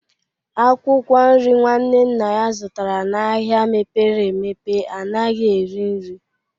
Akwụkwọ nri nwanne nna ya zụtara n'ahịa mepere emepe anaghị eri nri